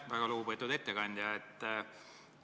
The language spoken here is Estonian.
Väga lugupeetud ettekandja!